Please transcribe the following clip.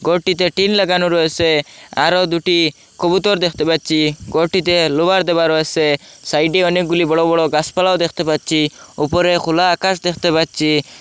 ঘরটিতে টিন লাগানো রয়েসে আরও দুটি কবুতর দেখতে পাচ্চি ঘরটিতে লোভার দেওয়া রয়েসে সাইডে অনেকগুলি বড় বড় গাসপালাও দেখতে পাচ্চি উপরে খোলা আকাশ দেখতে পাচ্চি।